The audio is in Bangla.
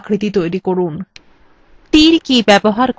এই দুটি আকৃতি তৈরি করুন